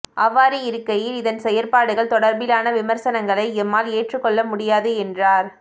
அவ்வாறு இருக்கையில் இதன் செயற்பாடுகள் தொடர்பிலான விமர்சனங்களை எம்மால் ஏற்றுகொள்ள முடியாது என்றார்